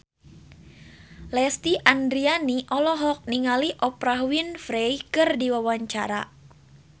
Lesti Andryani olohok ningali Oprah Winfrey keur diwawancara